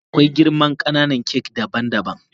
Akwai girman kananan kak daban daban.